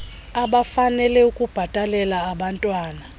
abafanele ukubhatalela abantwan